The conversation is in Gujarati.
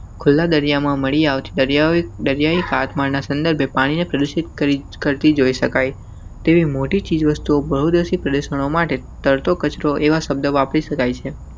ખુલ્લાદરિયામાં મળી આવતી દરિયા જગ્યાએ હાથમાં ના સંદર્ભે પાણીને પ્રદુષિત કરતી જોઇ શકાય તેવી મોટી ચીજ તો બહુત સી પ્રશ્નો માટે તરતો કચરો એવા શબ્દો વાપરી શકાય છે.